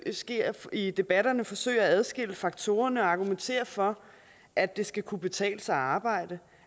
sker i debatterne forsøge at adskille faktorerne og argumentere for at det skal kunne betale sig at arbejde